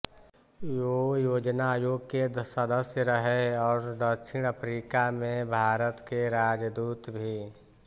वो योजना आयोग के सदस्य रहे और दक्षिण अफ्रीका में भारत के राजदूत भी